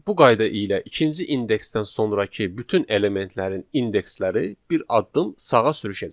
Bu qayda ilə ikinci indeksdən sonrakı bütün elementlərin indeksləri bir addım sağa sürüşəcək.